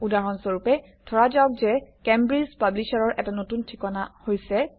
উদাহৰণ স্বৰপে ধৰা যাওক যে কেম্ব্ৰিজ পাব্লিশ্বাৰৰ এটা নতুন ঠিকনা হৈছে